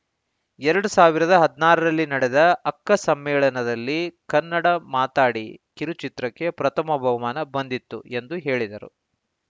ಎರಡ್ ಸಾವಿರದ ಹದಿನಾರರಲ್ಲಿ ನಡೆದ ಅಕ್ಕ ಸಮ್ಮೇಳನದಲ್ಲಿ ಕನ್ನಡ ಮಾತಾಡಿ ಕಿರುಚಿತ್ರಕ್ಕೆ ಪ್ರಥಮ ಬಹುಮಾನ ಬಂದಿತ್ತು ಎಂದು ಹೇಳಿದರು